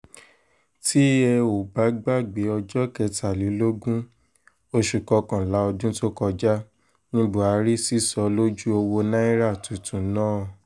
tẹ́ ò bá gbàgbé ọjọ́ kẹtàlélógún oṣù kọkànlá ọdún tó kọjá ní buhari sísọ lójú owó náírà tuntun náà